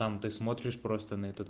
сам ты смотришь просто на этот